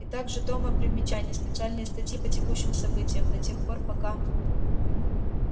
и так же тома примечаний специальные статьи по текущим событиям до тех пор пока